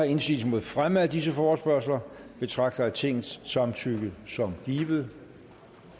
indsigelse mod fremme af disse forespørgsler betragter jeg tingets samtykke som givet